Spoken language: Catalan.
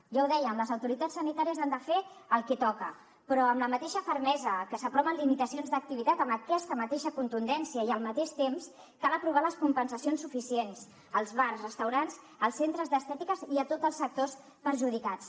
ja ho dèiem les autoritats sanitàries han de fer el que toca però amb la mateixa fermesa que s’aproven limitacions d’activitat amb aquesta mateixa contundència i al mateix temps cal aprovar les compensacions suficients als bars restaurants als centres d’estètica i a tots els sectors perjudicats